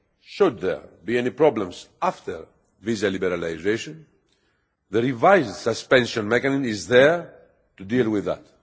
Should there be any problems after visa liberalisation, the revised suspension mechanism is there to deal with that.